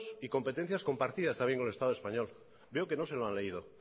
y competencias compartidas con el estado español veo que no se lo han leído